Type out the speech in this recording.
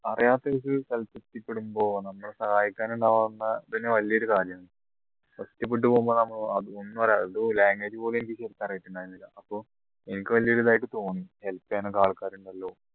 അറിയാത്ത ഒരു സ്ഥലത്ത് എത്തിപ്പെടുമ്പോ നമ്മളെ സഹായിക്കാൻ ഉണ്ടാവുന്ന ഇതെന്നെ വലിയൊരു കാര്യമാണ് ഒറ്റപ്പെട്ടുപോമ്പോ നമ്മള് അത് ഒന്നും അറിയാ അത് language പോലും എനിക്ക് ശരിക്ക് അറിയുന്നുണ്ടായിരുന്നില്ല അപ്പോ എനിക്ക് വലിയ ഒരു ഇതായിട്ട് തോന്നി help ചെയ്യാൻ ഒക്കെ ആൾക്കാർ ഉണ്ടല്ലോ